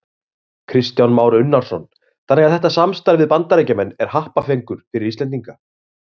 Kristján Már Unnarsson: Þannig að þetta samstarf við Bandaríkjamenn er happafengur fyrir Íslendinga?